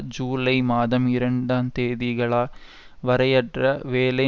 ஜூலை மாதம் இரண்டு தேதிகலா வரையரையற்ற வேலை